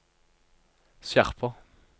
skjerper